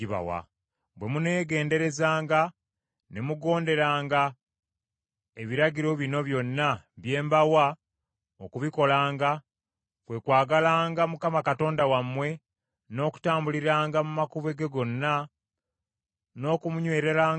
Bwe muneegenderezanga, ne mugonderanga ebiragiro bino byonna bye mbawa okubikolanga: kwe kwagalanga Mukama Katonda wammwe, n’okutambuliranga mu makubo ge gonna, n’okumunywererangako;